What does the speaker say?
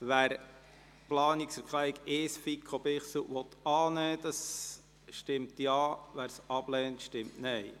Wer die Planungserklärung Nr. 1, FiKo/Bichsel, annehmen will, stimmt Ja, wer diese ablehnt, stimmt Nein.